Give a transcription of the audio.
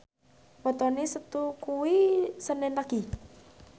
wetone Setu kuwi senen Legi